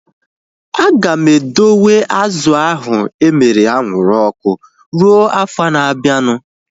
Aga m edowe azụ ahu emere anwụrụ ọkụ rue afọ na abianu